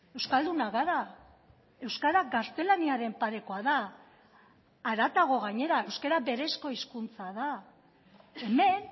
euskaldunak gara euskara gaztelaniaren parekoa da haratago gainera euskara berezko hizkuntza da hemen